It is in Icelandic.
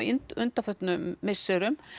undanförnum misserum